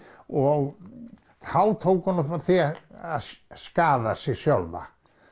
og þá tók hún upp á því að skaða sjálfa